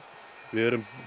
við erum